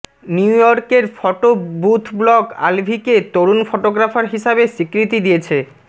নিউইয়র্কের photo booth blog আলভীকে তরুন ফটোগ্রাফার হিসাবে স্বীকৃতি দিয়েছে